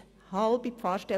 Eine halbe Pfarrstelle!